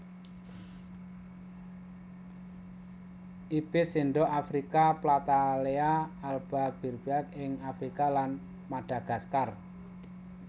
Ibis sendok afrika Platalea alba Berbiak ing Afrika lan Madagaskar